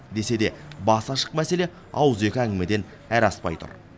десе де басы ашық мәселе ауызекі әңгімеден әрі аспай тұр